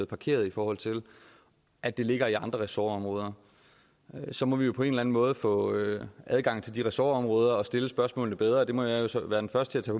parkeret i forhold til at det ligger i andre ressortområder så må vi jo på en måde få adgang til de ressortområder og stille spørgsmålene bedre det må jeg jo så være den første til